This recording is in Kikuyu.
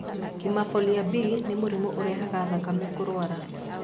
Hemophilia B nĩ mũrimũ ũrehaga thakame kũrũara.